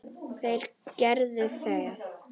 Þeir gerðu það.